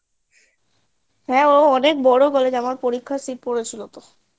হ্যাঁ ও অনেক বড়ো college আমার পরীক্ষার seat পড়েছিল